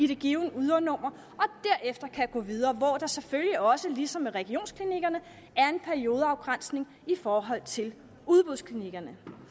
det givne ydernummer og derefter kan gå videre hvor der selvfølgelig også ligesom med regionsklinikkerne er en periodeafgrænsning i forhold til udbudsklinikkerne